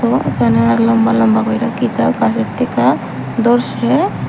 এখানে লম্বা লম্বা কয়েকটা কিতা গাছের থিকা ধরসে।